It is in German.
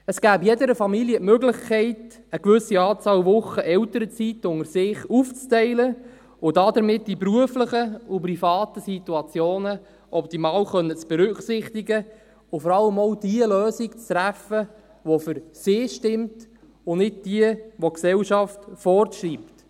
Es gäbe jeder Familie die Möglichkeit, eine gewisse Anzahl Wochen Elternzeit unter sich aufzuteilen, um die beruflichen und privaten Situationen optimal berücksichtigen zu können und vor allem auch jene Lösung zu treffen, die für sie stimmt, und nicht die, welche die Gesellschaft vorschreibt.